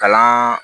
Kalan